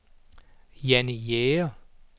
Jannie Jæger